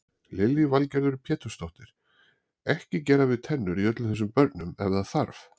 Lillý Valgerður Pétursdóttir: Ekki gera við tennur í öllum þessum börnum ef það þarf?